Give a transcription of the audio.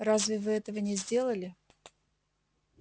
разве вы этого не сделали